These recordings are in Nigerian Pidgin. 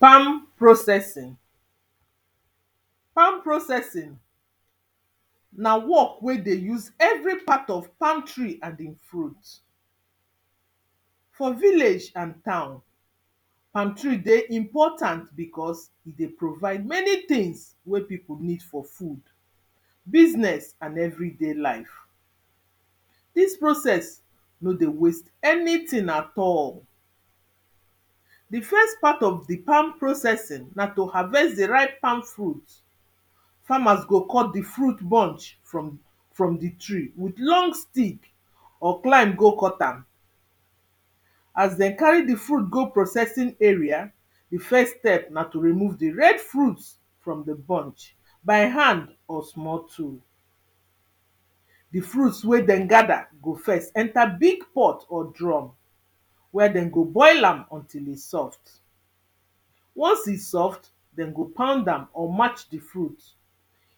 palm processing palm processing na work wey dey use every part of palm tree and in fruit for village and town palm tree, dey important because he dey provide many tings wey pipo need for food, business, and everyday life dis process no dey waste anyting at all the first part of the palm processing na to harvest the ripe palm fruit farmers go cut the fruit bunch from, from the tree with long stick, or climb go cut am as dem carry the food go processing area the first step na to remove the red fruits from the bunch, by hand or small tool the fruits wey dem gather go first enter big pot, or drum where dem go boil am untill, he soft once he soft, dem go pound am or match the fruit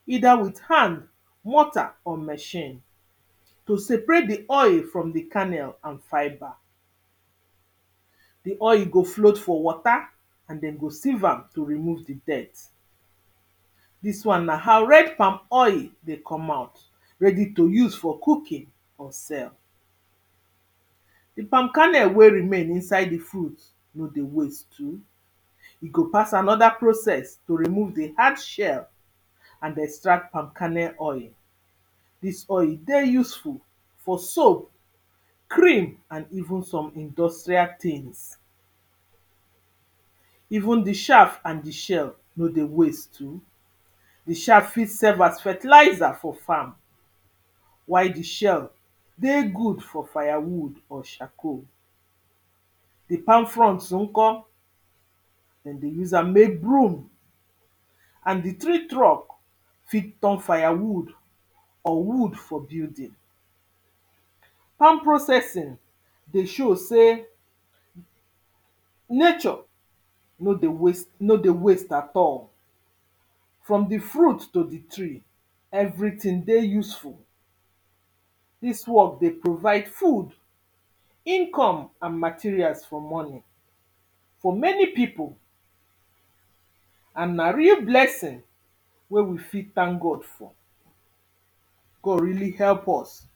either with hand, mortar or machine to separate the oil from the kernel, and fibre the oil go float for water and den go sieve am to remove the dirt dis one na how red palm oil dey come out ready to use for cooking, or sell the palm kernel wey remain inside the fruit no dey waste too he go pass another process to remove the hard shell and extract palm kernel oil dis oil dey useful for soap cream, and even some industrial tings even the shaf and the shell no dey waste too the shaf fit serve as fertilizer for farm. why the shell dey good for fire wood or charcoal the palm fronts unko dem dey use am mek broom and the tree truck fit turn fire wood or wood for building palm processing dey show sey nature no dey waste no dey waste at all from the fruit, to the tree everyting dey useful dis work dey provide food, income, and materials for money for many pipo and na real blessing wey we fi thank God for God really help us.